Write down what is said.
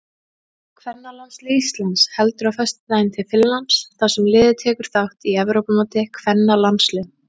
Kvennalandslið Íslands heldur á föstudaginn til Finnlands þar sem liðið tekur þátt í Evrópumóti kvennalandsliða.